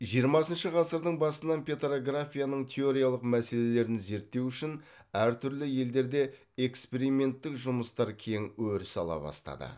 жиырмасыншы ғасырдың басынан петрографияның теориялық мәселелерін зерттеу үшін әртүрлі елдерде эксперименттік жұмыстар кең өріс ала бастады